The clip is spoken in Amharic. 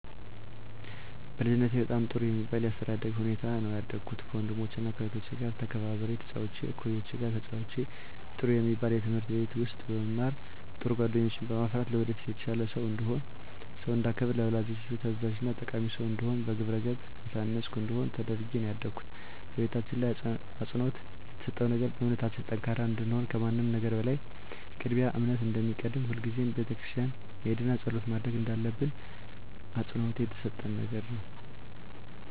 በልጅነቴ በጣም ጥሩ በሚባል የአስተዳደግ ሁኔታ ነው ያደኩት ከወንድሞቸና ከእህቶቸ ጋር ተከባብሬና ተጫውቼ ከእኩዮቼ ጋር ተጫውቼ ጥሩ የሚባል ትምህርት ቤት ውስጥ በመማር ጥሩ ጓደኞችን በማፍራት ለወደፊት የተሻለ ሰው እንድሆን ሰውን እንዳከብር ለወላጆቼ ታዛዥና ጠቃሚ ሰው እንድሆን በግብረገብ የታነፅኩ እንድሆን ተደርጌ ነው ያደኩት በቤታችን ላይ አፅንዖት የተሰጠው ነገር በእምነታችን ጠንካራ እንድንሆን ከምንም ነገር በላይ ቅድሚያ እምነት እንደሚቀድም ሁልጊዜም ቤተክርስቲያን መሄድና ፀሎት ማድረግ እንዳለብን አፅንዖት የተሰጠን ነገር ነው።